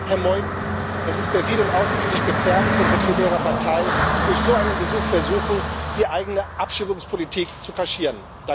Herr Meuthen, es ist perfide und außenpolitisch gefährlich, wenn Vertreter Ihrer Partei durch so einen Besuch versuchen, die eigene Abschiebungspolitik zu kaschieren.